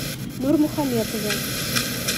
нурмухаметове